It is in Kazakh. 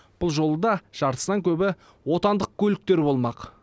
бұл жолы да жартысынан көбі отандық көліктер болмақ